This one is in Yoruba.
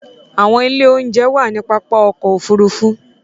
Awọn ìlé-ounjẹ̀ wà ni pápá ọkọ̀ òfurufú